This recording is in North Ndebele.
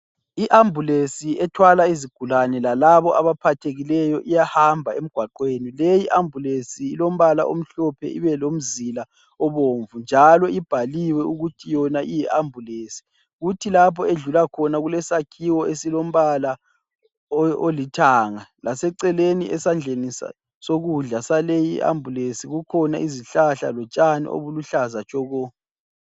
I-ambulensi ethwala izigulane lalabo abaphathekileyo iyahamba emgwaqweni. Leyi ambulensi ilombala omhlophe ibelomzila obomvu njalo ibhaliwe ukuthi yona iyi ambulensi kuthi lapho edlulakhona kulesakhiwo esilombala olithanga laseceleni esadleni sokudla saleyi ambulesi kukhona izihlahla lotshani okuluhlaza tshoko